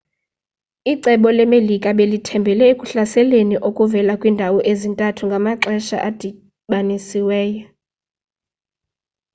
icebo le-melika belithembhele ekuhlaseleni okuvela kwiindawo ezintathu ngamaxesha adibanisiweyo